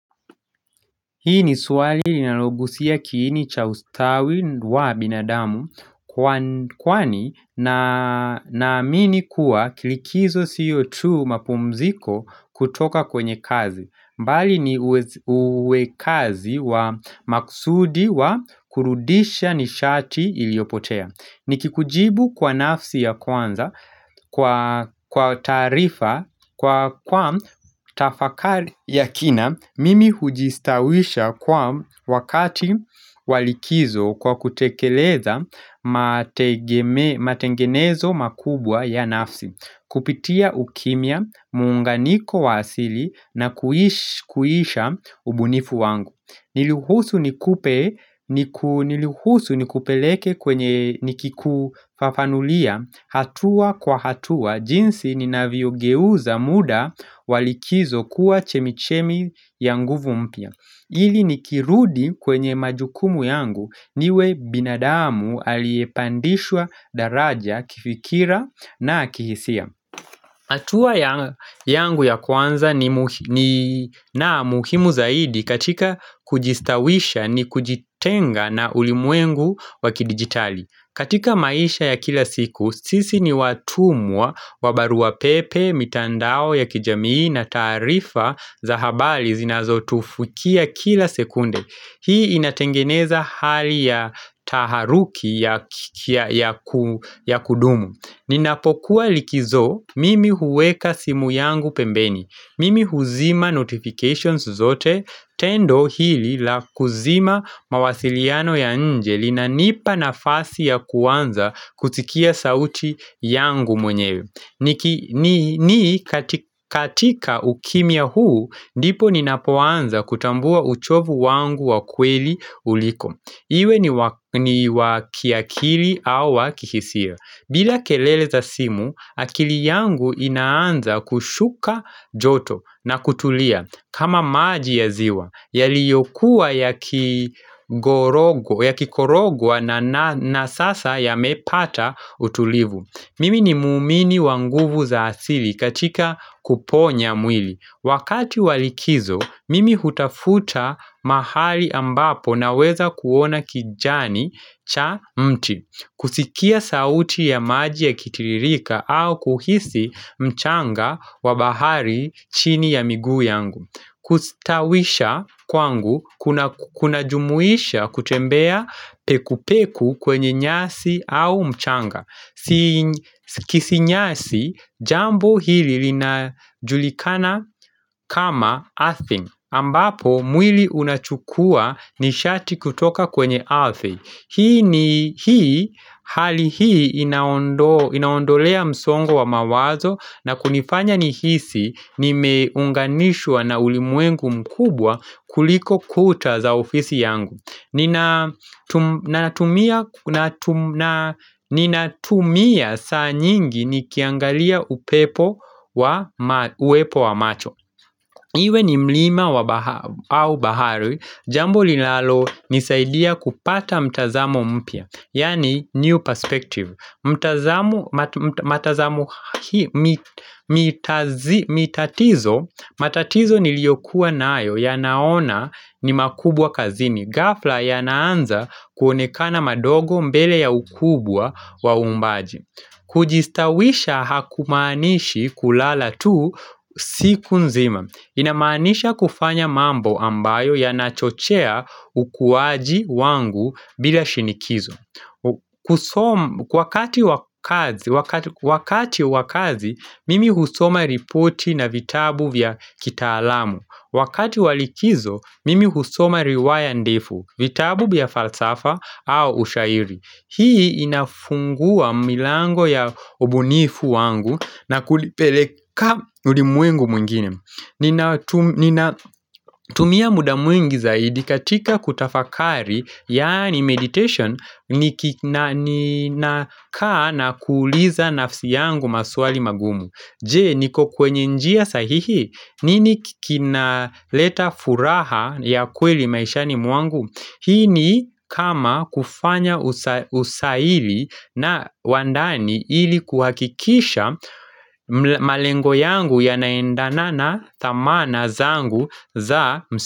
Hii ni swali inalogusia kiini cha ustawi wa binadamu kwani naamini kuwa kilikizo sio tu mapumziko kutoka kwenye kazi. Mbali ni uwekazi wa maksudi wa kurudisha nishati iliyopotea. Nikikujibu kwa nafsi ya kwanza kwa taarifa kwa kwam tafakari ya kina mimi hujistawisha kwa wakati walikizo kwa kutekeleza matengenezo makubwa ya nafsi Kupitia ukimya, muunganiko wa asili na kuisha ubunifu wangu Niruhusu nikupe niruhusu nikupeleke kwenye nikikufafanulia hatua kwa hatua jinsi ni navyogeuza muda wa likizo kuwa chemichemi ya nguvu mpya ili nikirudi kwenye majukumu yangu niwe binadamu aliyepandishwa daraja kifikira na kihisia hatua yangu ya kwanza ni na muhimu zaidi katika kujistawisha ni kujitenga na ulimwengu wakidigitali katika maisha ya kila siku, sisi ni watumwa wa baruwa pepe, mitandao ya kijamii na taarifa za habari zinazotufukia kila sekunde. Hii inatengeneza hali ya taharuki ya kudumu. Ninapokuwa likizo mimi huweka simu yangu pembeni, mimi huzima notifications zote, tendo hili la kuzima mawasiliano ya nje linanipa nafasi ya kuanza kusikia sauti yangu mwenyewe ni katika ukimya huu, ndipo ninapoanza kutambua uchovu wangu wa kweli uliko. Iwe ni wa kiakili au wa kihisia bila kelele za simu, akili yangu inaanza kushuka joto na kutulia. Kama maji ya ziwa, yaliyokuwa ya kikorogwa na sasa yamepata utulivu. Mimi ni muumini wa nguvu za asili katika kuponya mwili. Wakati walikizo, mimi hutafuta mahali ambapo naweza kuona kijani cha mti. Kusikia sauti ya maji yakitiririka au kuhisi mchanga wa bahari chini ya miguu yangu Kustawisha kwangu kunajumuisha kutembea peku peku kwenye nyasi au mchanga Sikisinyasi jambo hili linajulikana kama earthing ambapo mwili unachukua nishati kutoka kwenye ardhi Hii ni hii hali hii inaondolea msongo wa mawazo na kunifanya nihisi nimeunganishwa na ulimwengu mkubwa kuliko kuta za ofisi yangu. Ninatumia saa nyingi nikiangalia upepo wa uwepo wa macho. Iwe ni mlima au bahari, jambo lilalonisaidia kupata mtazamo mpya, yaani new perspective. Mtazamo, matazamo hii, mitatizo, matatizo niliyokuwa nayo yanaona ni makubwa kazini. Gafla yanaanza kuonekana madogo mbele ya ukubwa wa umbaji. Kujistawisha hakumaanishi kulala tu siku nzima. Inamaanisha kufanya mambo ambayo yanachochea ukuwaji wangu bila shinikizo kati wa wakati wa kazi, mimi husoma ripoti na vitabu vya kitaalamu. Wakati wa likizo, mimi husoma riwaya ndefu, vitabu vya falsafa au ushairi Hii inafungua milango ya ubunifu wangu na kulipeleka ulimwengu mwingine Nina tumia muda mwingi zaidi katika kutafakari Yaani meditation ni nakaa na kuuliza nafsi yangu maswali magumu. Je, niko kwenye njia sahihi nini kinaleta furaha ya kweli maishani mwangu? Hii ni kama kufanya usaili na wa ndani ili kuhakikisha malengo yangu yanaendana na dhamana zangu za msa.